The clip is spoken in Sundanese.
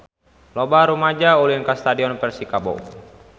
Loba rumaja ulin ka Stadion Persikabo